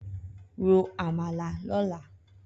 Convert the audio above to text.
Ró ámàlá lòlá